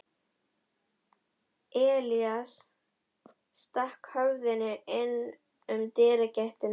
Elías stakk höfðinu inn um dyragættina.